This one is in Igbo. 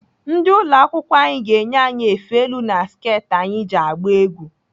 Ndị ụlọ akwụkwọ anyị ga-enye anyị efe elu na sket anyị ji agba egwu.